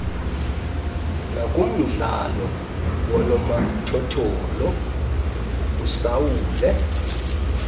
nakumdlalo woonomathotholo usaule